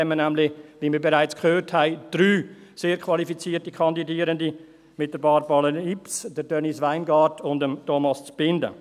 Wie wir bereits gehört haben, haben wir nämlich 3 sehr qualifizierte Kandidierende mit Barbara Lips, Denise Weingart und Thomas Zbinden.